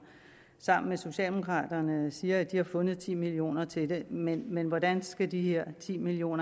sammen med socialdemokraterne siger at de har fundet ti million kroner til det men men hvordan skal de her ti million